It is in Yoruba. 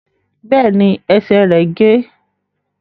Bẹ́ẹ̀ ni, ẹsè rẹ̀ gé.